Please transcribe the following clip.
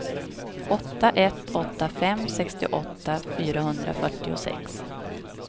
åtta ett åtta fem sextioåtta fyrahundrafyrtiosex